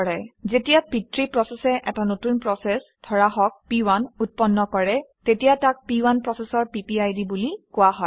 যেতিয়া পিতৃ প্ৰচেচে এটা নতুন প্ৰচেচ ধৰা হওক প1 উৎপন্ন কৰে তেতিয়া তাক প1 প্ৰচেচৰ পিপিআইডি বুলি কোৱা হয়